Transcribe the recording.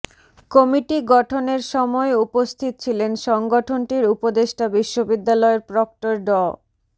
committee গঠনের সময় উপস্থিত ছিলেন সংগঠনটির উপদেষ্টা বিশ্ববিদ্যালয়ের প্রক্টর ড